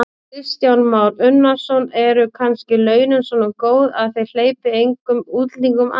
Kristján Már Unnarsson: Eru kannski launin svona góð að þið hleypið engum útlendingum að?